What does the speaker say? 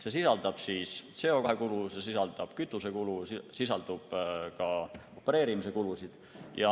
See sisaldab CO2 kulu, see sisaldab kütusekulu, see sisaldab ka opereerimiskulusid.